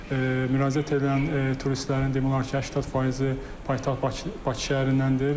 Müraciət edən turistlərin demək olar ki, 80 faizi paytaxt Bakı şəhərindəndir.